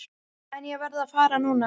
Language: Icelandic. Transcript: En ég verð að fara núna.